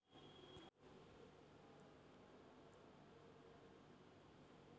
ഹിന്ദുക്കളെ ഭീകരരായി ചിത്രീകരിച്ച് ഇസ്ലാമാക മതഭീകരവാദത്തിന്‌ മറയിടാനാണ്‌ അവര്‍ ശ്രമിക്കുന്നത്‌